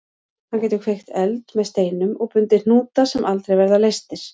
Hann getur kveikt eld með steinum og bundið hnúta sem aldrei verða leystir.